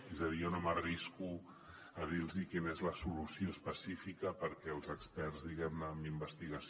és a dir jo no m’arrisco a dir los quina és la solució específica perquè els experts diguem ne en investigació